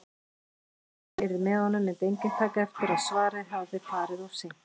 Ef heppnin yrði með honum myndi enginn taka eftir að svarið hafði farið of seint.